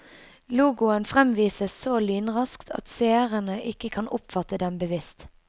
Logoen fremvises så lynraskt at seerne ikke kan oppfatte den bevisst.